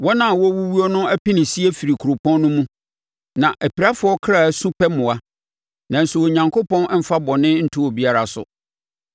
Wɔn a wɔrewuwuo no apinisie firi kuropɔn no mu, na apirafoɔ kra su pɛ mmoa. Nanso Onyankopɔn mfa bɔne nto obiara so.